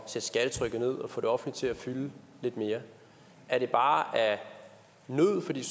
sætte skattetrykket ned og få det offentlige til at fylde lidt mere er det bare af nød fordi